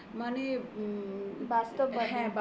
বাস্তববাদী